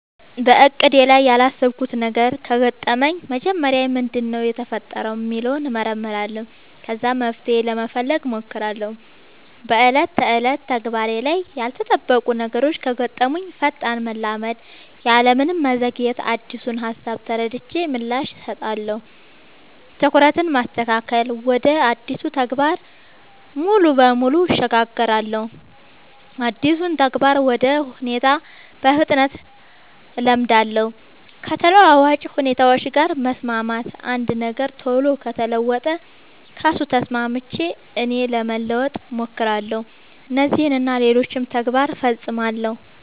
በእቅዴ ላይ ያላሰብኩት ነገር ከገጠመኝ መጀመሪያ ምንድነው የተፈጠረው ሚለውን እመረምራለሁ ከዛ መፍትሄ ለመፈለግ ሞክራለው በ ዕለት ተዕለት ተግባሬ ላይ ያልተጠበቁ ነገሮች ከገጠሙኝ ፈጣን መላመድ ያለምንም መዘግየት አዲሱን ሃሳብ ተረድቼ ምላሽ እሰጣለሁ። ትኩረትን ማስተካከል ወደ አዲሱ ተግባር ሙሉ በሙሉ እሸጋገራለሁ አዲሱን ተግባር ወይ ሁኔታ በፍጥነት እላመዳለው። ከተለዋዋጭ ሁኔታዎች ጋር መስማማት አንድ ነገር ቶሎ ከተለወጠ ከሱ ተስማምቼ እኔም ለመለወጥ ሞክራለው። እነዚህን እና ሌሎችም ተግባር ፈፅማለው።